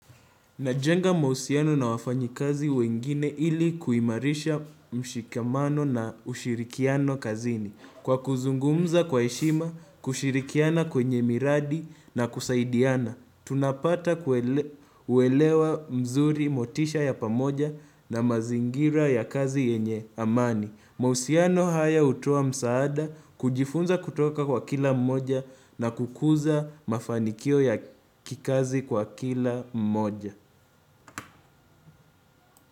Najenga mahusiano na wafanyi kazi wengine ili kuimarisha mshikamano na ushirikiano kazini. Kwa kuzungumza kwa heshima, kushirikiana kwenye miradi na kusaidiana. Tunapata kuelewa mzuri motisha ya pamoja na mazingira ya kazi yenye amani. Mahusiano haya hutoa msaada, kujifunza kutoka kwa kila mmoja na kukuza mafanikio ya kikazi kwa kila mmoja.